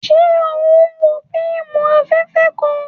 Ṣe o n wo fíìmù alafẹfẹ kàn?